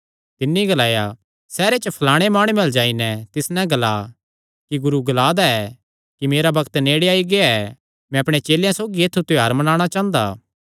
तिन्नी ग्लाया सैहरे च फलाणे माणुये अल्ल जाई नैं तिस नैं ग्ला कि गुरू ग्ला दा ऐ कि मेरा बग्त नेड़े आई गेआ ऐ मैं अपणे चेलेयां सौगी तेरे ऐत्थु त्योहार मनाणा चांह़दा